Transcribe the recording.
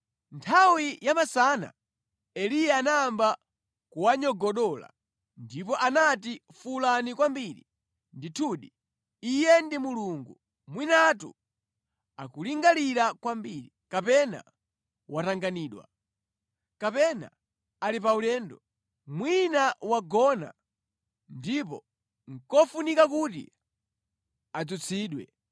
Nthawi yamasana Eliya anayamba kuwanyogodola ndipo anati, “Fuwulani kwambiri. Ndithudi, iye ndi mulungu! Mwinatu akulingalira kwambiri, kapena watanganidwa, kapena ali paulendo. Mwina wagona ndipo nʼkofunika kuti adzutsidwe.”